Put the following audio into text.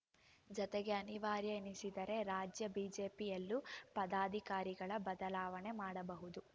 ಜತೆಗೆ ಅನಿವಾರ್ಯ ಎನಿಸಿದರೆ ರಾಜ್ಯ ಬಿಜೆಪಿಯಲ್ಲೂ ಪದಾಧಿಕಾರಿಗಳ ಬದಲಾವಣೆ ಮಾಡಬಹುದು